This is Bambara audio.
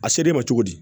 A ser'e ma cogo di